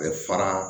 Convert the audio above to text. Bɛ fara